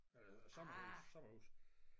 Øh sommerhuse sommerhuse